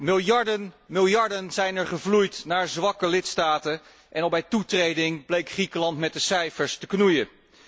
Miljarden zijn er gevloeid naar zwakke lidstaten en al bij toetreding bleek Griekenland met de cijfers te knoeien.